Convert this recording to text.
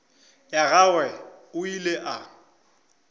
ya gagwe o ile a